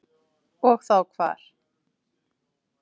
Og þá hvar.